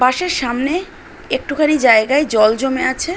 বাস -এর সামনে একটুখানি জায়গায় জল জমে আছে ।